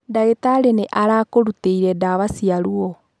Ndagitarĩ nĩ arakũrutĩire ndawa cia ruwo.